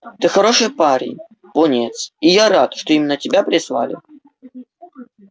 ты хороший парень пониетс и я рад что именно тебя прислали